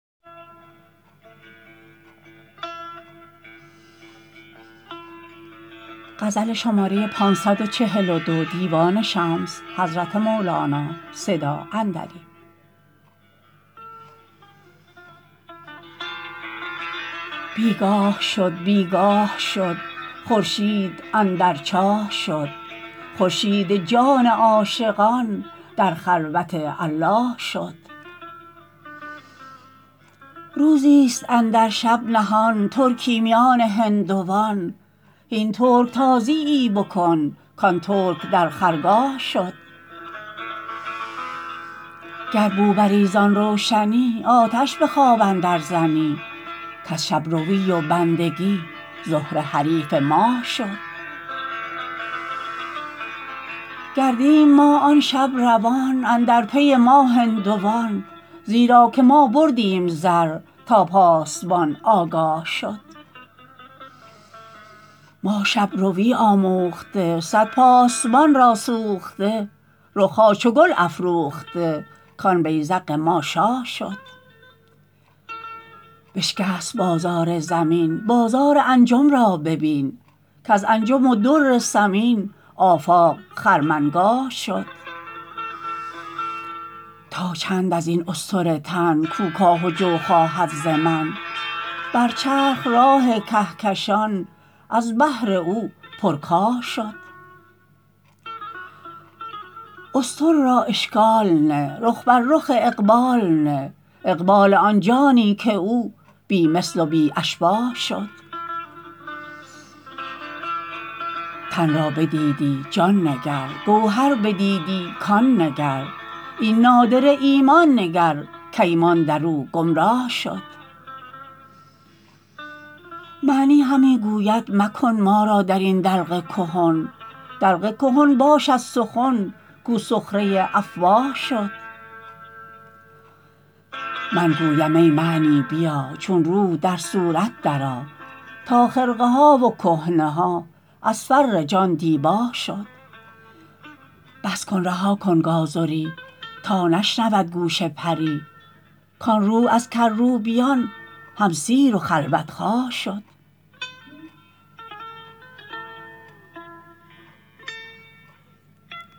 بی گاه شد بی گاه شد خورشید اندر چاه شد خورشید جان عاشقان در خلوت الله شد روزیست اندر شب نهان ترکی میان هندوان هین ترک تازیی بکن کان ترک در خرگاه شد گر بو بری زان روشنی آتش به خواب اندرزنی کز شب روی و بندگی زهره حریف ماه شد گردیم ما آن شب روان اندر پی ما هندوان زیرا که ما بردیم زر تا پاسبان آگاه شد ما شب روی آموخته صد پاسبان را سوخته رخ ها چو گل افروخته کان بیذق ما شاه شد بشکست بازار زمین بازار انجم را ببین کز انجم و در ثمین آفاق خرمنگاه شد تا چند از این استور تن کو کاه و جو خواهد ز من بر چرخ راه کهکشان از بهر او پرکاه شد استور را اشکال نه رخ بر رخ اقبال نه اقبال آن جانی که او بی مثل و بی اشباه شد تن را بدیدی جان نگر گوهر بدیدی کان نگر این نادره ایمان نگر کایمان در او گمراه شد معنی همی گوید مکن ما را در این دلق کهن دلق کهن باشد سخن کو سخره افواه شد من گویم ای معنی بیا چون روح در صورت درآ تا خرقه ها و کهنه ها از فر جان دیباه شد بس کن رها کن گازری تا نشنود گوش پری کان روح از کروبیان هم سیر و خلوت خواه شد